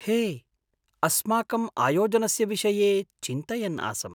हे, अस्माकम् आयोजनस्य विषये चिन्तयन् आसम्।